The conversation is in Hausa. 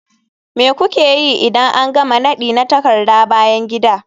Me kuke yi idan an gama nadi na takarda bayan gida?